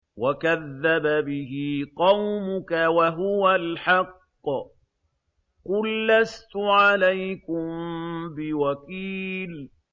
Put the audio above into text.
وَكَذَّبَ بِهِ قَوْمُكَ وَهُوَ الْحَقُّ ۚ قُل لَّسْتُ عَلَيْكُم بِوَكِيلٍ